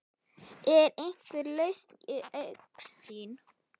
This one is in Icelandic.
Er einhver lausn í augsýn?